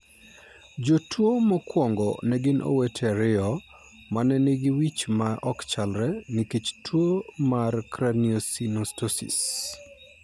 Jotuo mokwongo ne gin owete ariyo ma ne nigi wich ma ok chalre nikech tuwo mar craniosynostosis.